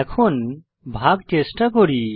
এখন ভাগ চেষ্টা করি